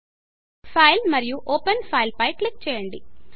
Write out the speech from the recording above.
Fileఫైల్ మరియు ఓపెన్ Fileఓపెన్ ఫైల్ పై క్లిక్ చేయండి